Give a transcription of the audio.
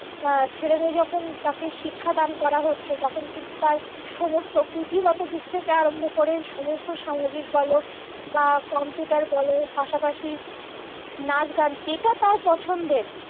ছেলেমেয়ে যখন তাকে শিক্ষাদান করা হচ্ছে তখন কিন্তু তার পুঁথিগত ভিত থেকে আরম্ভ করে সমস্ত সামাজিক বল বা কম্পিউটার বল পাশাপাশি নাচগান যেটা তার পছন্দের